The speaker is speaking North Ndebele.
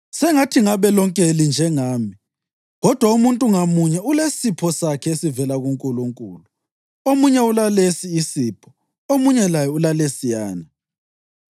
Sengathi ngabe lonke linjengami. Kodwa umuntu ngamunye ulesipho sakhe esivela kuNkulunkulu, omunye ulalesi isipho, omunye laye ulalesiyana.